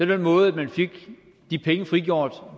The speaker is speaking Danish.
den måde man fik de penge frigjort